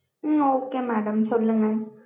உம் okay madam சொல்லுங்க